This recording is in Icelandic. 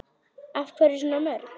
Af hverju svona mörg?